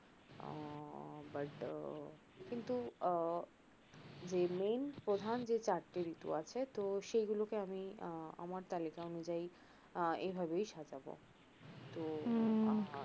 but আহ কিন্তু আহ যে main প্রধান যে চারটি ঋতু আছে তো সেইগুলোকে আমি আহ আমার তালিকা অনুযায়ী আহ এভাবেই সাজাবো